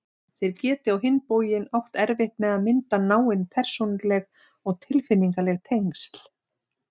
Þeir geti á hinn bóginn átt erfitt með að mynda náin persónuleg og tilfinningaleg tengsl.